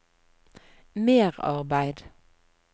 merarbeid